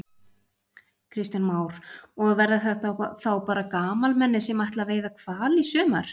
Kristján Már: Og verða þetta þá bara gamalmenni sem ætla að veiða hval í sumar?